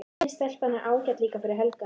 Hin stelpan er ágæt líka fyrir Helga.